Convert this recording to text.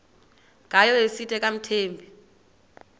ngayo esithi akamthembi